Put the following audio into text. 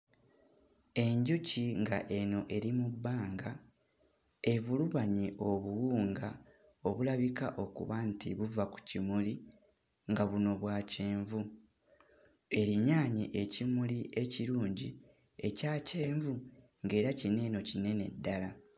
Enjuki nga eno eri mu bbanga evulubanye obuwunga obulabika okuba nti buva ku kimuli nga buno bwa kyenvu, erinyaanye ekimuli ekirungi ekya kyenvu ng'era kino eno kinene ddala.